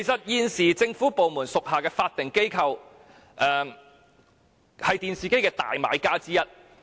現時政府部門屬下的法定機構，是電視機的主要買家之一。